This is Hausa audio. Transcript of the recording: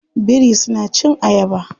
Biri suna cin ayaba.